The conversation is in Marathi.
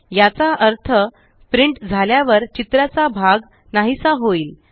याचा अर्थ प्रिंट झाल्यावर चित्राचा भाग नाहीसा होईल